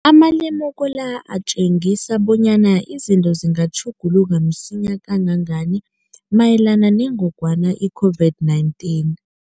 Amalemuko la atjengisa bonyana izinto zingatjhuguluka msinyana kangangani mayelana nengogwana i-COVID-19.